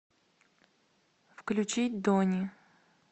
включить дони